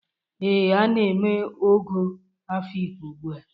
Ee, a na-eme ogo Afikpo ugbua.